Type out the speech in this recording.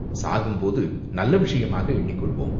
சாகும் போது நல்ல விஷயமாக எண்ணிக் கொள்வோம்!